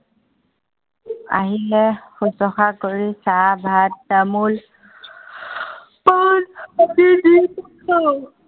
আহিলে শুশ্ৰুষা কৰি চাহ ভাত তামোল, পান আদি দি কৰো।